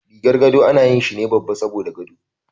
Rigar gado ana yi shine babba saboda gado.